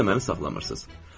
Siz isə məni saxlamırsınız.